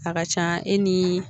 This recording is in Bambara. A ka ca e ni